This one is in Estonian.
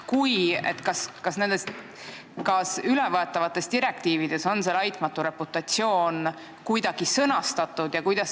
Kui on, siis kas ülevõetavates direktiivides on see "laitmatu reputatsioon" kuidagi määratletud?